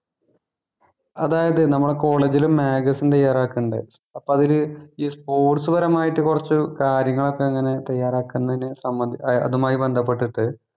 അതായത് നമ്മുടെ college ല് magazine തയ്യാറാക്കുന്നുണ്ട് അപ്പം അതില് ഈ sports പരമായിട്ട് കുറച്ച് കാര്യങ്ങൾ ഒക്കെ ഇങ്ങനെ തയ്യറാക്കുന്നതിനെ സംബന്ധി ആഹ് അതുമായി ബന്ധപ്പെട്ടിട്ട്